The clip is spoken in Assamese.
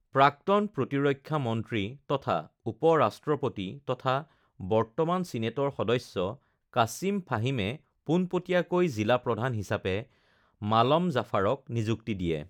প্ৰাক্তন প্ৰতিৰক্ষা মন্ত্ৰী তথা উপ-ৰাষ্ট্ৰপতি তথা বৰ্তমান ছিনেটৰ সদস্য কাছিম ফাহিমে পোনপটীয়াকৈ জিলা প্ৰধান হিচাপে মালম জাফাৰক নিযুক্তি দিয়ে